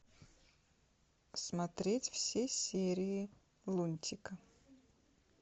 смотреть все серии лунтика